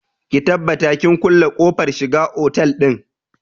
Ki tabbata kin kulle kofar shiga otal ɗin!